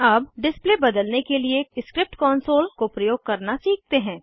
अब डिस्प्ले बदलने के लिए स्क्रिप्ट कॉन्सोल को प्रयोग करना सीखते हैं